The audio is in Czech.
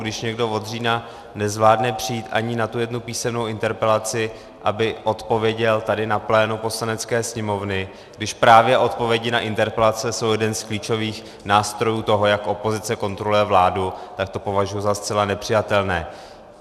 Když někdo od října nezvládne přijít ani na tu jednu písemnou interpelaci, aby odpověděl tady na plénu Poslanecké sněmovny, když právě odpovědi na interpelace jsou jeden z klíčových nástrojů toho, jak opozice kontroluje vládu, tak to považuji za zcela nepřijatelné.